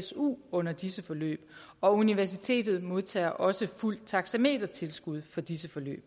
su under disse forløb og universitetet modtager også fuldt taxametertilskud for disse forløb